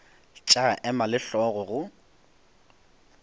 tša ema le hlogo go